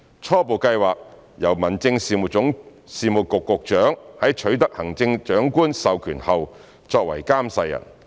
初步計劃由民政事務局局長在取得行政長官授權後作為監誓人。